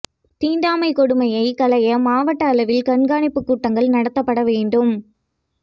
தீண்டாமை கொடுமையை களைய மாவட்ட அளவில் கண்காணிப்பு கூட்டங்கள் நடத்தப்பட வேண்டும்